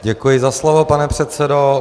Děkuji za slovo, pane předsedo.